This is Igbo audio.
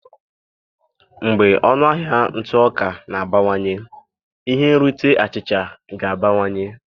Mgbe ọnụ ahịa ntụ ọka na-abawanye ihe nrite achịcha ga-abawanye